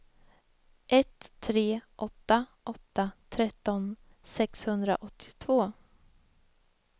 ett tre åtta åtta tretton sexhundraåttiotvå